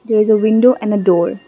is a window and a door.